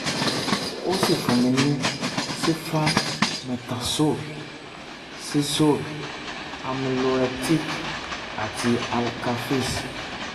ó sì fún mi ní cifran metazol cizole amiloretic àti alka fizz